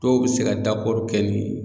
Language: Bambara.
Dɔw bɛ se ka kɛ n'i ye.